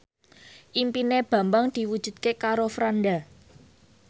impine Bambang diwujudke karo Franda